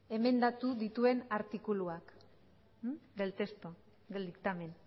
emendatu dituen artikuluak del texto del dictamen